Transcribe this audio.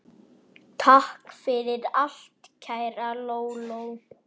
Takk fyrir allt, kæra Lóló.